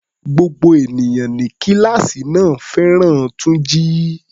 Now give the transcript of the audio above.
Gbogbo ènìyàn ní kíláàsì náà fẹ́ràn Túnjí.